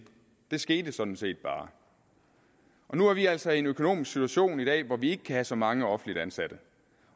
det skete sådan set bare og nu er vi altså i en økonomisk situation i dag hvor vi ikke kan have så mange offentligt ansatte